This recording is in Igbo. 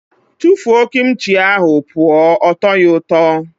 Tụfuo Kim chi ahụ pụọ! Ọ tọghi ụtọ.